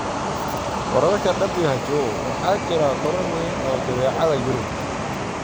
Wararka WHO: Waxaa jira koror weyn oo jadeecada Yurub